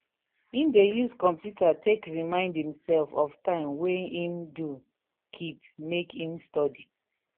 he dey use computer take remind himself of time wey him do keep make him study.